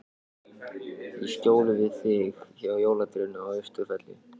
Í skjóli við þig, hjá jólatrénu á Austurvelli.